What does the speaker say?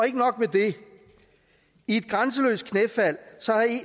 ikke nok med det i et grænseløst knæfald